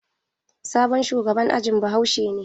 Sabon shugaban ajin bahaushe ne.